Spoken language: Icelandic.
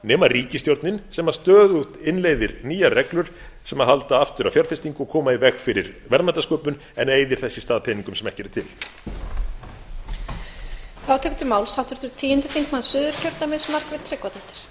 nema ríkisstjórnin sem stöðugt innleiðir nýjar reglur sem halda aftur af fjárfestingu og koma í veg fyrir verðmætasköpun en eyðir þess í stað peningum sem ekki eru til